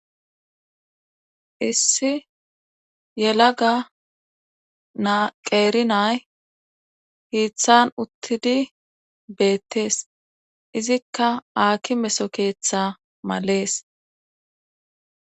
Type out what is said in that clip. issi yelaga na qeeri na7ay hiithan uttidi beettes;izikka haakimeso keetha males.